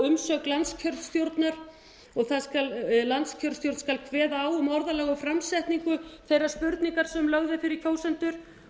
umsögn landskjörstjórnar og landskjörstjórn skal kveða á um orðalag og framsetningu þeirrar spurningar sem lögð er fyrir kjósendur